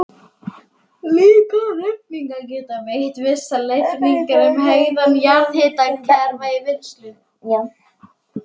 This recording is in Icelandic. Líkanreikningar geta veitt vissar leiðbeiningar um hegðun jarðhitakerfa í vinnslu.